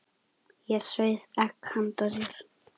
Ég sauð egg handa þér.